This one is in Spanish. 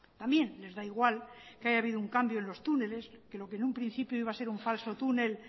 también les da igual que haya habido un cambio en los túneles que lo que en un principio iba a ser un falso túnel